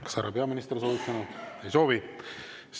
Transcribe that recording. Kas härra peaminister soovib sõna võtta?